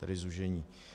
Tedy zúžení.